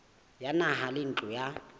ya naha le ntlo ya